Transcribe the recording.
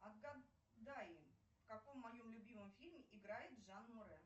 отгадай в каком моем любимом фильме играет жан морэ